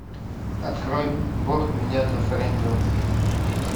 открой бог меня зафрендил